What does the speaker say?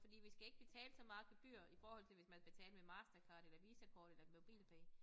Fordi vi skal ikke betale så meget gebyr i forhold til hvis man betalte med Mastercard eller Visakort eller MobilePay